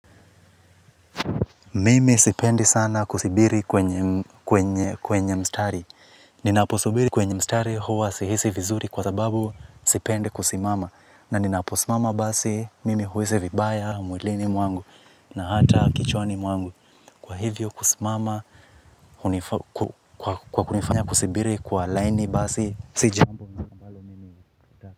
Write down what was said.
Mimi sipendi sana kusibiri kwenye mstari. Ninaposubiri kwenye mstari huwa sihisi vizuri kwa sababu sipendi kusimama. Na ninaposimama basi mimi huhisi vibaya, mwilini mwangu na hata kichwani mwangu. Kwa hivyo kusimama kwa kunifanya kusibiri kwa laini basi sijambo.